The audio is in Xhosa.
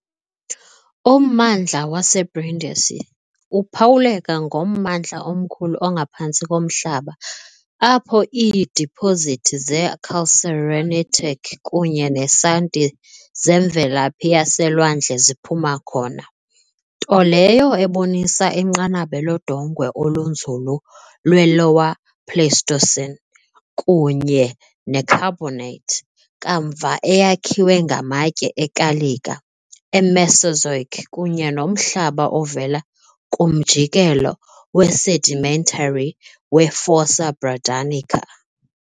Ummandla waseBrindisi uphawuleka ngommandla omkhulu ongaphantsi komhlaba apho iidipozithi ze- calcarenitic kunye nesanti zemvelaphi yaselwandle ziphuma khona, nto leyo ebonisa inqanaba lodongwe olunzulu lwe- Lower Pleistocene, kunye ne -carbonate kamva eyakhiwe ngamatye ekalika e-Mesozoic kunye nomhlaba ovela kumjikelo we-sedimentary we-Fossa Bradanica.